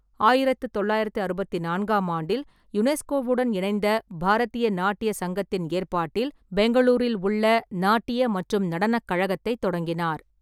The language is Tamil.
ஆயிரத்து தொள்ளாயிரத்தி அறுபத்தி நான்காம் ஆண்டில் யுனெஸ்கோவுடன் இணைந்த பாரதிய நாட்டிய சங்கத்தின் ஏற்பாட்டில் பெங்களூரில் உள்ள நாட்டியக் மற்றும் நடனக் கழகத்தைத் தொடங்கினார்.